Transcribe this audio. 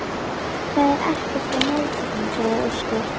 Það er ekkert að mótornum, sagði Óskar.